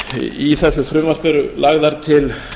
í þessu frumvarpi eru lagðar til